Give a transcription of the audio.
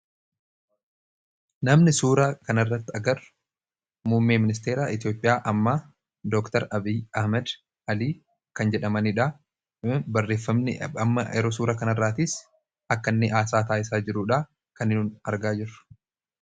namni suura kanirratti agarru muummee ministeera Itiyoophiyaa ammaa dooktar Abiy Ahmad Alii kan jedhamaniidha .barreeffamni amma yeroo suura kan irraatiis akka inni haasaa taasisaa jiruudha kan argaa jirru.